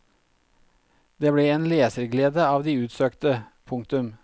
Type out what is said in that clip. Det ble en leserglede av de utsøkte. punktum